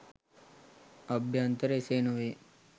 අභ්‍යන්තරය එසේ නොවේ.